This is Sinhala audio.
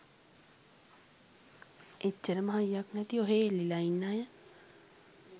එච්චරම හයියක් නැති ඔහේ එල්ලිල ඉන්න අය